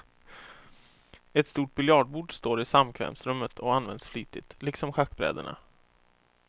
Ett stort biljardbord står i samkvämsrummet och används flitigt, liksom schackbrädena.